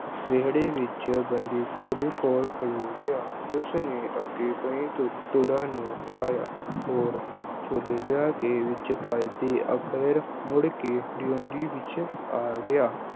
ਵਿਹੜੇ ਵਿੱਚ ਗੰਦੀ ਘੋੜੀ ਕੋਲ ਖਲੋ ਗਿਆ ਉਸਨੇ ਅੱਗੇ ਕਈ ਦੁ ਅਹ ਦੁੜਾਂ ਨੂੰ ਹਿਲਾਇਆ ਹੋਰ ਛੋਲੇ ਲਿਆ ਕੇ ਵਿੱਚ ਪਾਏ ਤੇ ਅਖੀਰ ਫਿਰ ਮੁੜਕੇ ਡਿਉੜੀ ਵਿੱਚ ਆ ਗਿਆ।